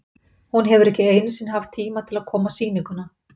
Hún hefur ekki einu sinni haft tíma til að koma á sýninguna.